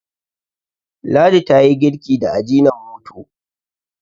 ladi ta yi girki da ajinomoto